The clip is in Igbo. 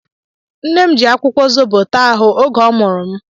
Nne m ji akwụkwọ zobo taa ahụ oge ọ mụrụ m.